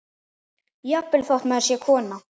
Jafnvel þótt maður sé kona.